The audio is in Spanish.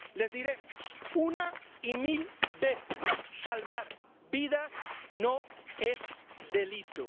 Les diremos una y mil veces Salvar vidas no es delito.